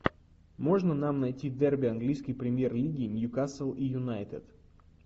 можно нам найти дерби английской премьер лиги ньюкасл и юнайтед